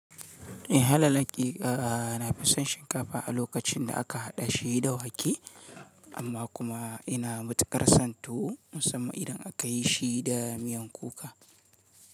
Eh, halal laki na fi son shinkafa a lokacin da aka haɗa shi da wake, amma kuma ina matuƙar son tuwo musamman idan aka yi shi da miyan kuka.